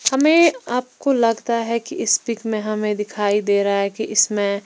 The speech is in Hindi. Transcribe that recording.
हमें आपको लगता है कि इस पिक में हमें दिखाई दे रहा है कि इसमें--